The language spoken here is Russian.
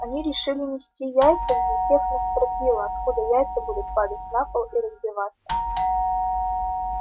они решили нести яйца взлетев на стропила откуда яйца будут падать на пол и разбиваться